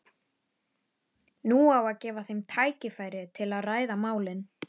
Nú á að gefa þeim tækifæri til að ræða málin.